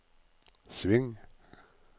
sving